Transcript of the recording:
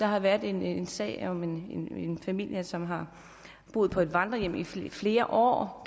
har været en sag om en familie som har boet på et vandrehjem i flere år